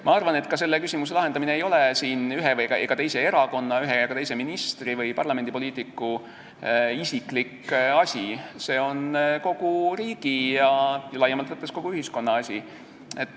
Ma arvan, et ka selle küsimuse lahendamine ei ole ühe ega teise erakonna, ühe ega teise ministri või parlamendipoliitiku isiklik asi, see on kogu riigi ja laiemalt võttes kogu ühiskonna asi.